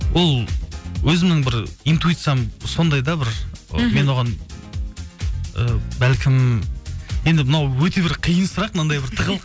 ол өзімнің бір интуициям сондай да бір мхм мен оған і бәлкім енді мынау өте бір қиын сұрақ мынандай бір